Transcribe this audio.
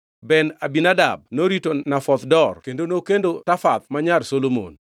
Ben-Abinadab norito Nafoth Dor (kendo nokendo Tafath ma nyar Solomon).